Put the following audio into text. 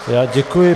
Já děkuji.